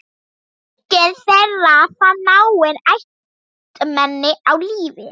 Enginn þeirra fann náin ættmenni á lífi.